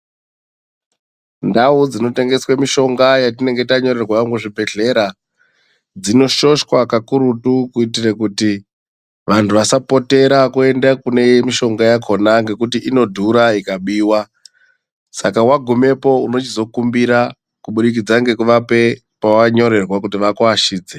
Ndau dzinotengeswa mishonga yetinenge tanyorerwa muzvibhehlera dzinoshoshwa pakurutu kuitire kuti vanhu vasapotera kuenda kune mishonga yakona inodhura ikabiwa. Saka wagumepo unochizo kumbira kubudikidza nekuvapa pawanyorerwa kuti vakuashidze.